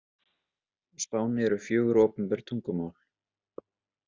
Á Spáni eru fjögur opinber tungumál.